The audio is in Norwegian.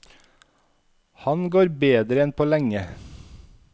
Han går bedre enn på lenge.